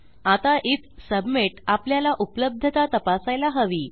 आता IF submit आपल्याला उपलब्धता तपासायला हवी